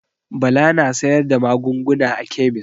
Bala na sayar da magunguna a kemis.